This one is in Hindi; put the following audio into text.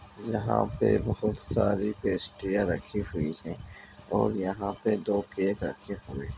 यहां पे बहोत सारी पेस्ट्रीयां रखी हुई हैं और यहां पे दो केक रखे हुए हैं।